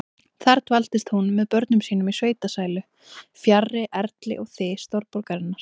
Þar dvaldist hún með börnum sínum í sveitasælu, fjarri erli og þys stórborgarinnar.